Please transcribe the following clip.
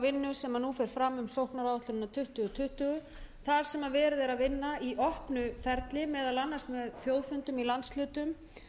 sem nú fer fram um sóknaráætlunina tuttugu tuttugu þar sem verið er að vinna í opnu ferli meðal annars með þjóðfundum í landshlutum